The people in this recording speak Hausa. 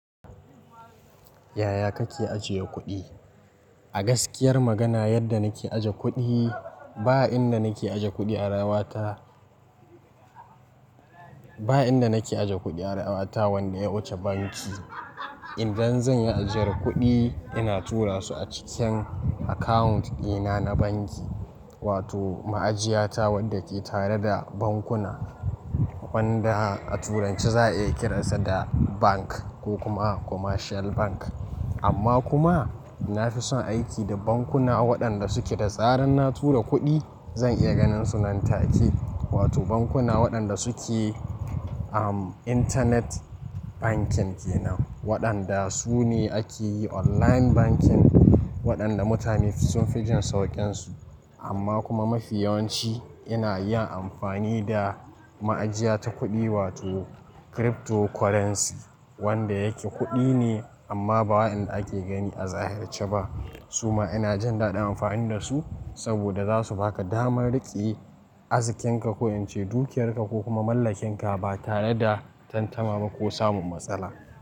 Yaya kake ajiye kuɗi? A gaskiyar magana, yadda nake aje kuɗi ba inda nake aje kuɗi a rayuwata, ba inda nake aje kuɗi a rawata wanda ya wuce banki. Idan zan yi ajiyar kuɗi ina tura su a cikin account ɗina na banki wato ma'ajiya ta wadda ke tare da bankuna wanda a turanci za a iya kiran sa da bank ko kuma commercial bank. Amma kuma na fi son aiki da bankuna waɗanda suke da tsaran na tura kuɗi zan iya ganin su nan take, wato bankuna waɗanda suke, am, internet banking kenan. Waɗanda su ne ake yi online banking waɗanda mutane sun fi jin sauƙin su. Amma kuma mafi yawanci ina yin amfani da ma'ajiya ta kuɗi wato cryptocurrency wanda yake kuɗi ne amma ba wainda ake gani a zahirce ba. Su ma ina jin daɗin amfani da su saboda za su baka damar riƙe azkkenka ko in ce dukiyarka ko kuma mallakinka ba tare da tantama ba ko samun matsala.